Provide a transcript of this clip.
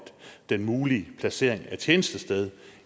den mulige placering af tjenestested